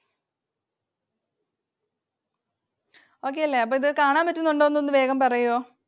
Okay അല്ലെ? അപ്പൊ ഇത് കാണാൻ പറ്റുന്നുണ്ടോ എന്ന് ഒന്ന് വേഗം പറയുവോ?